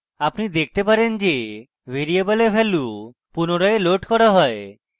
আপনি দেখতে পারেন যে ভ্যারিয়েবলে ভ্যালু পুনরায় লোড করা you